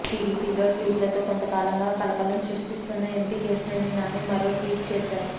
టీడీపీలో ట్వీట్లతో కొంత కాలంగా కలకలం సృష్టిస్తున్న ఎంపి కేశినేని నాని మరో ట్వీట్ చేసారు